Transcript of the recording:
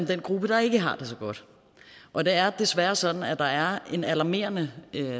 den gruppe der ikke har det så godt og det er desværre sådan at der er en alarmerende